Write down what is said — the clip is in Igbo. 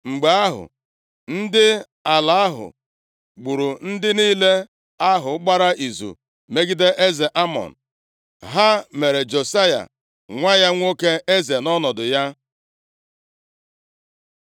Mgbe ahụ, ndị ala ahụ gburu ndị niile ahụ gbara izu megide eze Amọn. Ha mere Josaya nwa ya nwoke eze nʼọnọdụ ya.